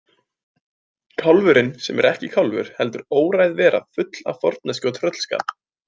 Kálfurinn sem er ekki kálfur heldur óræð vera full af forneskju og tröllskap.